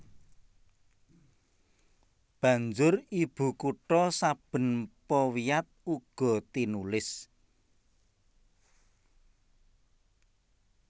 Banjur ibukutha saben powiat uga tinulis